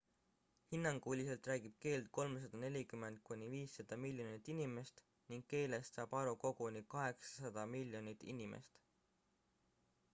hinnanguliselt räägib keelt 340 kuni 500 miljonit inimest ning keelest saab aru koguni 800 miljonit inimest